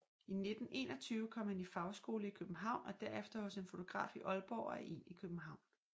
I 1921 kom han i fagskole i København og derefter hos en fotograf i Aalborg og en i København